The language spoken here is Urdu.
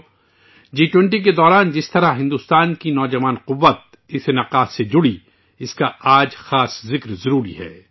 دوستو آج جی 20 کے دوران اس پروگرام سے بھارت کی نوجوان طاقت کس طرح جڑی ہوئی ہے اس کے خصوصی تذکرے کی ضرورت ہے